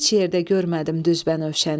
Heç yerdə görmədim düz bənövşəni.